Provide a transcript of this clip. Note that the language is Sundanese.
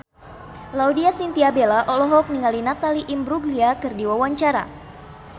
Laudya Chintya Bella olohok ningali Natalie Imbruglia keur diwawancara